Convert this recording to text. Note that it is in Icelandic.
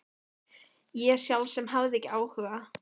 Ég sjálf sem hafði ekki áhuga.